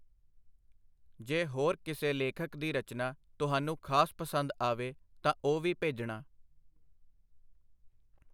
ਜੇ ਹੋਰ ਕਿਸੇ ਲੇਖਕ ਦੀ ਰਚਨਾ ਤੁਹਾਨੂੰ ਖਾਸ ਪਸੰਦ ਆਵੇ, ਤਾਂ ਉਹ ਵੀ ਭੇਜਣਾ.